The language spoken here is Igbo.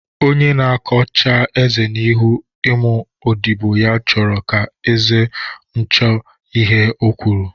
Onye na-akọ chaa eze n'ihu ụmụ odibo ya chọrọ ka eze nucha ihe ọ kwuru